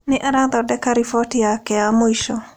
Nĩ arathondeka riboti yake ya mũico.